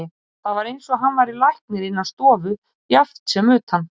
Það var eins og hann væri læknir innan stofu jafnt sem utan.